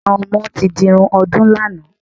Àwọn ọmọ ti dirun ọdún lánàá.